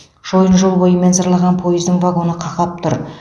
шойын жол бойымен зырлаған пойыздың вагоны қақап тұр